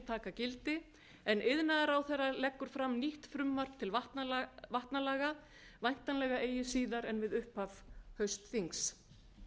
gildi en iðnaðarráðherra leggur fram nýtt frumvarp til vatnalaga væntanlega eigi síðar en við upphaf haustþings